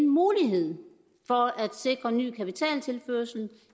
mulighed for at sikre ny kapitaltilførsel